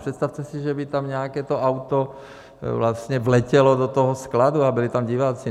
Představte si, že by tam nějaké to auto vletělo do toho skladu a byli tam diváci.